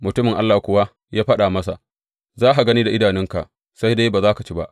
Mutumin Allah kuwa ya faɗa masa, Za ka gani da idanunka sai dai ba za ka ci ba!